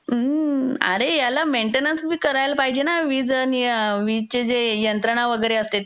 अरे त्याला मेंटेनन्स बी करायला पाहिजेना वीज आणि वीजेचे जे यंत्रणा वगैरे असते